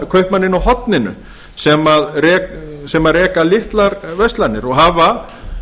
kaupmanninn á horninu sem reka litlar verslanir og hafa